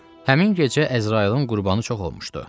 Həmin gecə Əzrayılın qurbanı çox olmuşdu.